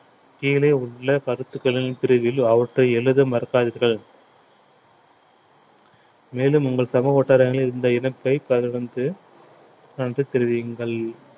கீழே உள்ள கருத்துகளின் பிரிவில் அவற்றை எழுத மறக்காதீர்கள் மேலும் உங்கள் சமூக வட்டாரங்களில் இந்த இணைப்பை பகிர்ந்து தொடர்ந்து தெரிவியுங்கள்